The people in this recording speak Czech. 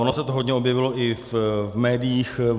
Ono se to hodně objevilo i v médiích.